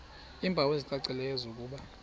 iimpawu ezicacileyo zokuba